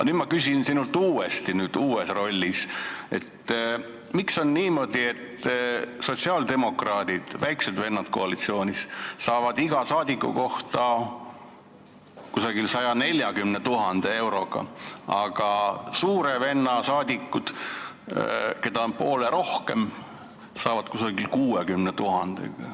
Nüüd ma küsin uuesti sinult, kes sa oled uues rollis, miks on niimoodi, et sotsiaaldemokraadid, väiksed vennad koalitsioonis, saavad iga saadiku kohta kusagil 140 000 eurot, aga suure venna saadikud, keda on poole rohkem, saavad kusagil 60 000 eurot.